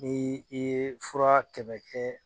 Ni i ye fura kɛmɛ kɛ